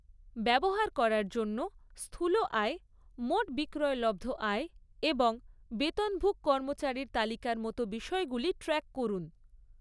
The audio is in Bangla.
ব্যবহার করার জন্য স্থূল আয়, মোট বিক্রয়লব্ধ আয় এবং বেতনভুক কর্মচারির তালিকার মতো বিষয়গুলি ট্র্যাক করুন।